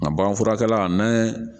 Nka bagan furakɛla n'an ye